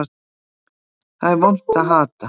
Það er vont að hata.